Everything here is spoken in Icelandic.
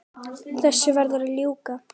Þessu varð að ljúka.